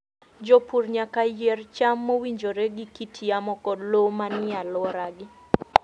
Jopur nyaka yier cham mowinjore gi kit yamo kod lowo manie alworagi.